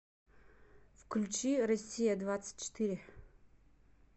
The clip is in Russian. включи россия двадцать четыре